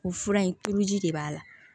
O fura in tuuru ji de b'a la